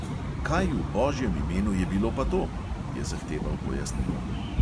"Kaj v božjem imenu je bilo pa to?" je zahteval pojasnilo.